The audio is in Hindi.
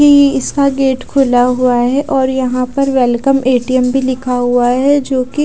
ये इसका गेट खुला हुआ है और यहां पर वेलकम ए_टी_एम भी लिखा हुआ है जोकि--